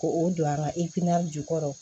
Ko o don an ka jukɔrɔ